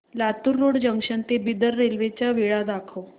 Latur road junction ते Bidar railway च्या वेळा दाखव